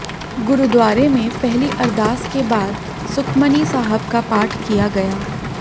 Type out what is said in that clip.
गुरुद्वारे में पहली अरदास के बाद सुखमनी साहब का पाठ किया गया